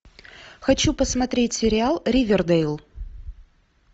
хочу посмотреть сериал ривердэйл